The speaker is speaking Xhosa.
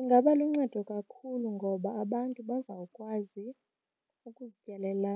Ingaba luncedo kakhulu ngoba abantu bazawukwazi ukuzityalela